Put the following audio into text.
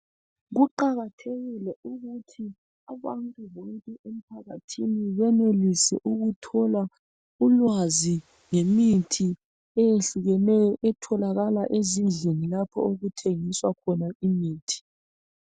Kuqakathekile ukuthi abantu bonke emphakathini benelise ukuthola ulwazi ngemithi eyehlukeneyo . Etholakala ezindlini lapho okuthengiswa khona imithi.